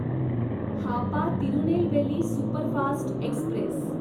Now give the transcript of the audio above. Hapa Tirunelveli superfast Express